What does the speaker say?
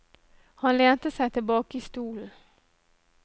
Han lente seg tilbake i stolen.